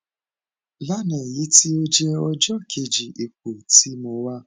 lana eyiti o jẹ ọjọ keji ipo ti mo wa